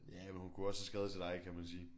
Ja men hun kunne også have skrevet til dig kan man sige